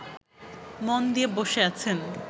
মন দিয়ে বসে আছেন